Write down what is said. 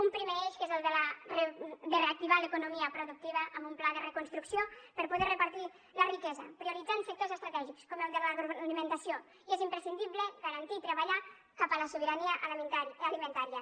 un primer eix que és el de reactivar l’economia productiva amb un pla de reconstrucció per a poder repartir la riquesa prioritzant sectors estratègics com el de l’agroalimentació i és imprescindible garantir i treballar cap a la sobirania alimentària